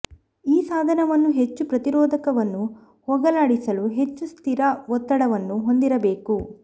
ಈ ಸಾಧನವನ್ನು ಹೆಚ್ಚು ಪ್ರತಿರೋಧವನ್ನು ಹೋಗಲಾಡಿಸಲು ಹೆಚ್ಚು ಸ್ಥಿರ ಒತ್ತಡವನ್ನು ಹೊಂದಿರಬೇಕು